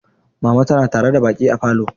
Mama tana tare da baƙi a falo.